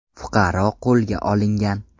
Fuqaro qo‘lga olingan.